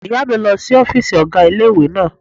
Ìyá mi lọ sí ọ́fìsì ọ̀gá ilé-ìwé náà